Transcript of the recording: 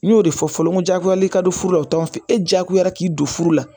N y'o de fɔ fɔlɔ n ko jagoya le ka don furu la o t'anw fɛ e jagoyara k'i don furu la